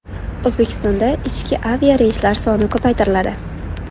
O‘zbekistonda ichki aviareyslar soni ko‘paytiriladi.